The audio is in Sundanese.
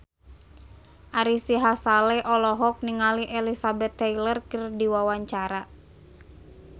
Ari Sihasale olohok ningali Elizabeth Taylor keur diwawancara